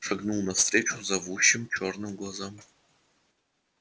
шагнул навстречу зовущим чёрным глазам